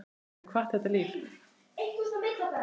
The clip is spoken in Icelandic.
Þú hefur kvatt þetta líf.